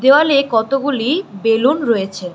দেওয়ালে কতগুলি বেলুন রয়েছে।